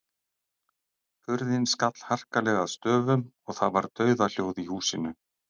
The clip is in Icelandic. Hurðin skall harkalega að stöfum og það var dauðahljóð í húsinu.